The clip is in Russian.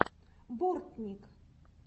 бортник